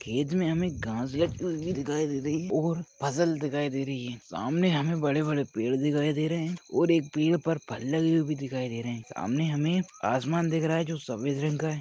खेत मे हमें घास या पत्ती दिखाई दे रही है और फसल दिखाई दे रही है सामने हमें बड़े-बड़े पेड़ दिखाई दे रहे है और एक पेड़ पर फल लगे हुए दिखाई दे रहे है सामने हमें आसमान दिख रहा है जो सफेद रंग का है।